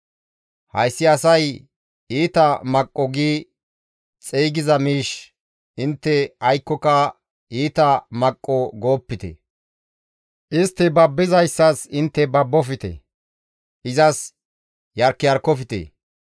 «Hayssi asay, ‹Iita maqqo› gi xeygiza miish intte aykkoka, ‹Iita maqqo› goopite; istti babbizayssas intte babbofte; izas yarkiyarkofte.